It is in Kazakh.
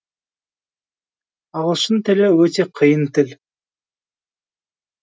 ағылшын тілі өте қиын тіл